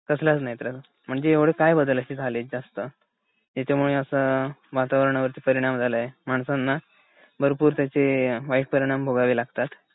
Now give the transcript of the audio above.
कसलाच नाही त्रास म्हणजे एव्हडे काय बदल असे झालेत जास्त ज्याच्यामुळे असा वातावरणावरती परिणाम झालाये. माणसांना भरपूर त्याचे वाईट परिणाम भोगावे लागतात.